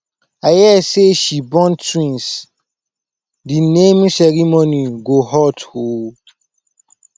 i hear say she born twins the naming ceremony go hot oo